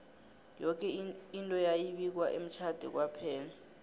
yoke into yayi bikwa emtjhade kwaphela